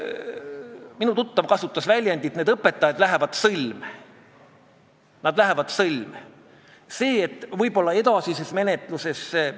Aga meil tuli otsustada, kas me läheme selle eelnõuga edasi ja teeme parandusettepanekuid, näiteks jätame füüsilise isiku puhul sunniraha ülemmäära samaks või toome selle hoopis alla, ma ei tea, isegi nullini, ja tõstame juriidilise isiku sunniraha.